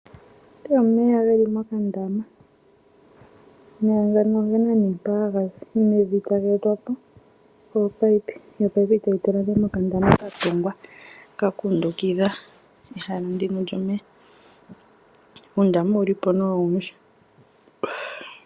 Omeya ge li mokandaama. Omeya ngano oge na mpoka haga zi nenge taga etwa po kominino dho ominino tadhi tula nduno mokandama ka tungwa ka kundukidha ehala ndika lyomeya. Uundama owu li po nduno owundji.